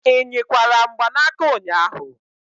Ị nyikwara mgbanaka ụnyahụ?